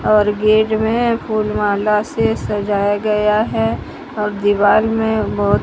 और गेट में फूल माला से सजाया गया है और दीवार में बहोत--